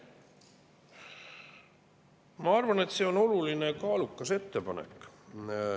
Ma arvan, et see on oluline ja kaalukas ettepanek.